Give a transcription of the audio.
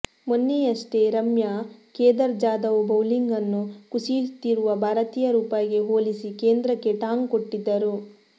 ಮೊನ್ನೆಯಷ್ಟೇ ರಮ್ಯಾ ಕೇದಾರ್ ಜಾದವ್ ಬೌಲಿಂಗ್ ನ್ನು ಕುಸಿಯುತ್ತಿರುವ ಭಾರತೀಯ ರೂಪಾಯಿಗೆ ಹೋಲಿಸಿ ಕೇಂದ್ರಕ್ಕೆ ಟಾಂಗ್ ಕೊಟ್ಟಿದ್ದರು